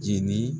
Jeni